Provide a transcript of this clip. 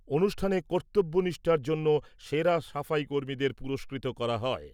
অনুষ্ঠানে কর্তব্য নিষ্ঠার জন্য সেরা সাফাইকর্মীদের পুরস্কৃত করা হয়।